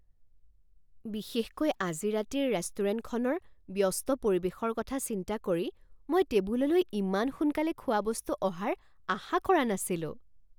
বিশেষকৈ আজি ৰাতিৰ ৰেষ্টুৰেণ্টখনৰ ব্যস্ত পৰিৱেশৰ কথা চিন্তা কৰি মই টেবুললৈ ইমান সোনকালে খোৱাবস্তু অহাৰ আশা কৰা নাছিলো।